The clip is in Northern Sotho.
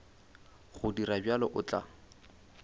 go dira bjalo o tla